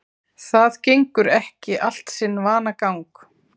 Það gengur ekki allt sinn vanagang